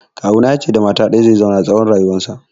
Kawuna ya ce da mata ɗaya zai zauna tsawon rayuwarsa